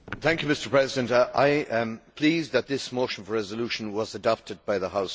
Mr President, I am pleased that this motion for a resolution was adopted by the House.